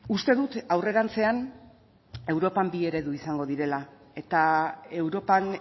uste dut aurrerantzean europan bi eredu izango direla eta europan